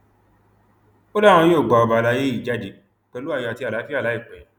ó láwọn yóò gba ọba àlàyé yìí jáde pẹlú ayọ àti àlàáfíà láìpẹ